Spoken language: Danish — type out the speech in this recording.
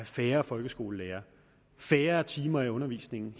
færre folkeskolelærere færre timer i undervisningen